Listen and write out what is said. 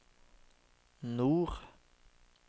nord